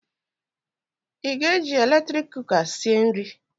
Ị ga-eji eletrik kụka sịe nri?